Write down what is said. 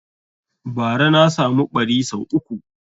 Bara na samu ɓari sau uku